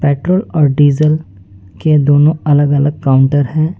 Petrol और diesel के दोनों अलग अलग काउंटर हैं।